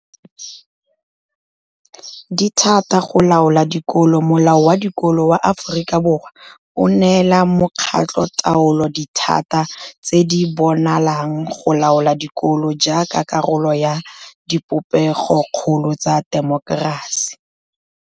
Dithata go laola dikolo Molao wa Dikolo wa Aforika Borwa o neela makgotlataolo dithata tse di bonalang go laola dikolo jaaka karolo ya dipopegokgolo tsa temokerasi.